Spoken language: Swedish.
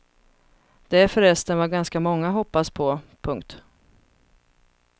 Det är förresten vad ganska många hoppas på. punkt